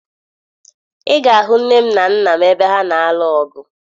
Ị ga-ahụ nne m na nna m ebe ha na-alụ ọgụ